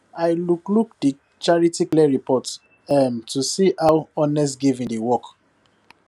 i look look the charity clear report um to see how honest giving dey work